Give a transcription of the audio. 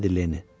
dedi Lenni.